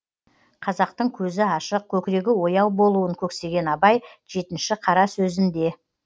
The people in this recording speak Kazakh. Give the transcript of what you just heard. қазақтың көзі ашық көкірегі ояу болуын көксеген абай жетінші қара сөзінде